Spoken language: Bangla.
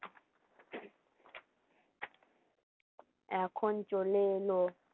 এখন চলে এলো